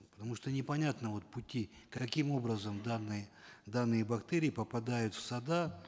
потому что непонятны вот пути каким образом данные данные бактерии попадают в сады